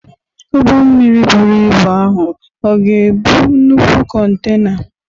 Ụgbọ mmiri buru ibu ahụ ọ̀ ga-ebu nnukwu kontena?